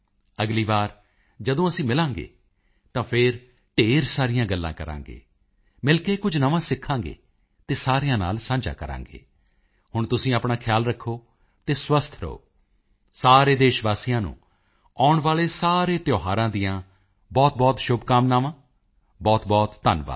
ਅਗਲੀ ਵਾਰ ਜਦੋਂ ਅਸੀਂ ਮਿਲਾਂਗੇ ਤਾਂ ਫਿਰ ਢੇਰ ਸਾਰੀਆਂ ਗੱਲਾਂ ਕਰਾਂਗੇ ਮਿਲ ਕੇ ਕੁਝ ਨਵਾਂ ਸਿੱਖਾਂਗੇ ਅਤੇ ਸਾਰਿਆਂ ਨਾਲ ਸਾਂਝਾ ਕਰਾਂਗੇ ਹੁਣ ਤੁਸੀਂ ਆਪਣਾ ਖਿਆਲ ਰੱਖੋ ਅਤੇ ਸਵਸਥ ਰਹੋ ਸਾਰੇ ਦੇਸ਼ਵਾਸੀਆਂ ਨੂੰ ਆਉਣ ਵਾਲੇ ਸਾਰੇ ਤਿਓਹਾਰਾਂ ਦੀਆਂ ਬਹੁਤਬਹੁਤ ਸ਼ੁਭਕਾਮਨਾਵਾਂ ਬਹੁਤਬਹੁਤ ਧੰਨਵਾਦ